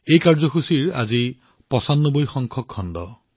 এই কাৰ্যসূচীটোৰ আজি হৈছে ৯৫ তম খণ্ড